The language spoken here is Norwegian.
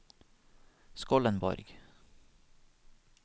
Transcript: Skollenborg